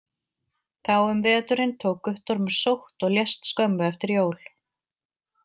Þá um veturinn tók Guttormur sótt og lést skömmu eftir jól.